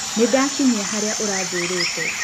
Nĩndakinyia harĩa ũranjĩrĩte.